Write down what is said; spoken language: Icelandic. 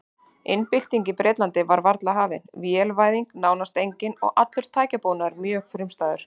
Iðnbyltingin í Bretlandi var varla hafin, vélvæðing nánast engin og allur tækjabúnaður mjög frumstæður.